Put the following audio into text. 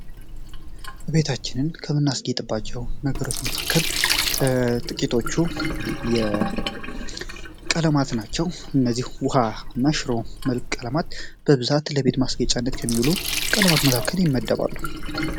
ቤታችንን ከምናስጌጥባቸው ነገሮች መካከል ጥቂቶቹ የቀለማት ናቸው። እነዚህ ውሃና ሽሮ መልክ ቀለማት በብዛት ለቤት ማስገጫነት ከሚውሉ ቀለማት መካከል ይመደባሉ።